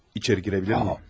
İçeri girə bilirəmmi?